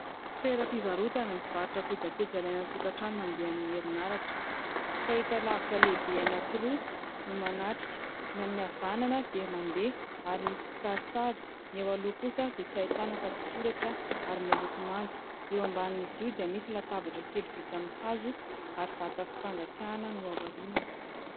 Toeram-pivarotana mivarotra kojakoja ilaina an-tokatrano mandeha amin'ny herinaratra. Fahitalavitra lehibe anankiroa no manatrika. Ny amin'ny havanana dia mandeha ary misy kisarisary. Ny eo aloha kosa dia tsy ahitana afa tsy soratra ary miloko manga. Eo ambanin'izy io dia misy latabatra kely vita am'ny hazo ary vata fampangatsiahana no ao aorinany.